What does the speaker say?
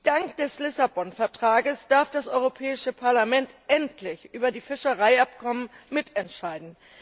Dank des Vertrags von Lissabon darf das Europäische Parlament endlich über die Fischereiabkommen mitentscheiden.